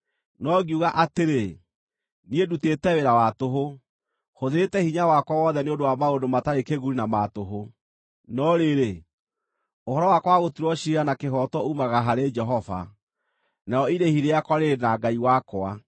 No ngiuga atĩrĩ, “Niĩ ndutĩte wĩra wa tũhũ; hũthĩrĩte hinya wakwa wothe nĩ ũndũ wa maũndũ matarĩ kĩguni na ma tũhũ. No rĩrĩ, ũhoro wakwa wa gũtuĩrwo ciira na kĩhooto uumaga harĩ Jehova, narĩo irĩhi rĩakwa rĩrĩ na Ngai wakwa.”